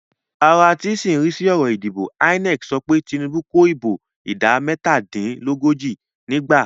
Ara tí ń rí sí ọ̀rọ̀ ìdìbò INEC sọ pé Tinubu kó ìbò ìdá mẹ́tàdínlógójì nígbà